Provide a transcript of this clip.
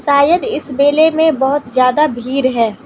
शायद इस मेले मे बहोत ज्यादा भीड़ है।